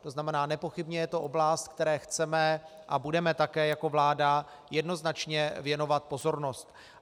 To znamená, nepochybně je to oblast, které chceme a budeme také jako vláda jednoznačně věnovat pozornost.